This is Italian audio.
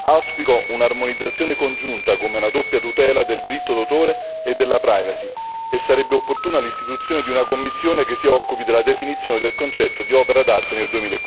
Auspico un'armonizzazione congiunta, come una doppia tutela del diritto d'autore e della privacy, e sarebbe opportuna l'istituzione di una commissione che si occupi della definizione del concetto di opera d'arte nel